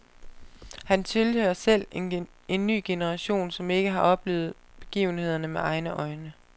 Han tilhører selv en ny generation som ikke har oplevet begivenhederne med egne øjne.